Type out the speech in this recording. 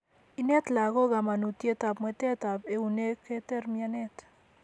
Ineet lagok kamanutyet ab mwetet ab eunek keter mianet